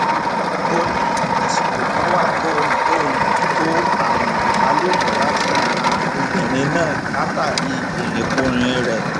ó ní àsìkò kan wà tóun tóun kó àrùn ìbálòpọ̀ láti ara obìnrin náà látàrí irinkurin rẹ̀